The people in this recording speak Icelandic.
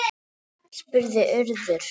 spurði Urður.